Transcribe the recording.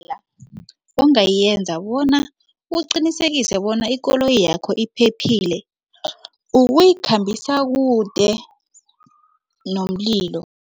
Ongayenza bona uqinisekise bona ikoloyi yakho iphephile ukuyikhambisana kude nomlilo.